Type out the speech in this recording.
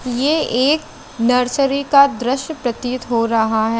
ये एक नर्सरी का द्श्य प्रतीत हो रहा है।